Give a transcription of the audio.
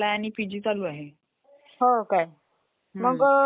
desktop फक्त आपल्याला information show करते म्हणजे डिस्प्ले करते फक्त ते